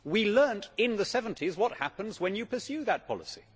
We learnt in the seventies what happens when you pursue that policy.